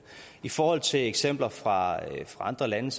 i forhold til eksempler fra andre lande